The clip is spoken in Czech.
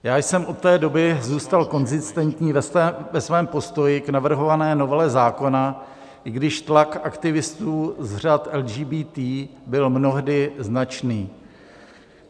Já jsem od té doby zůstal konzistentní ve svém postoji k navrhované novele zákona, i když tlak aktivistů z řad LGBT byl mnohdy značný.